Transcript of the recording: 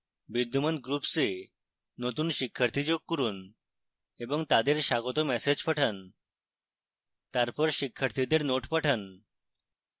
বিদ্যমান groups a নতুন শিক্ষার্থী যোগ করুন এবং তাদের স্বাগত ম্যাসেজ পাঠান